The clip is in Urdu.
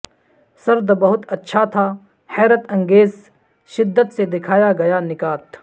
سرد بہت اچھا تھا حیرت انگیز شدت سے دکھایا گیا نکات